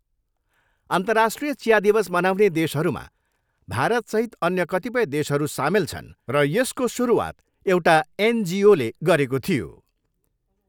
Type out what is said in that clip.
अन्तर्राष्ट्रिय चिया दिवस मनाउने देशहरूमा भारतसहित अन्य कतिपय देशहरू सामेल छन् र यसको सुरुवात एउटा एनजिओले गरेको थियो।